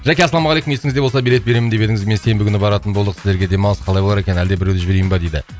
жәке ассалаумағалейкум есіңізде болса билет беремін деп едіңіз мен сенбі күні баратын болдық сіздерге демалыс қалай болар екен әлде біреуді жіберейін бе дейді